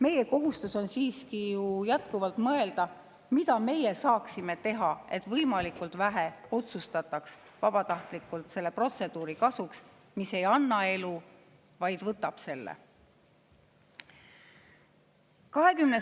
Meie kohustus on siiski jätkuvalt mõelda sellele, mida me saaksime teha, et võimalikult vähe otsustataks vabatahtlikult selle protseduuri kasuks, mis ei anna elu, vaid võtab selle.